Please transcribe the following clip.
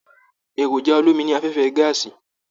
Èròjà olomi ní afẹfẹ gàásí.